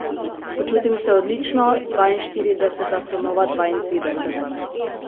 Počutim se odlično, dvainštirideseta so nova dvaintrideseta.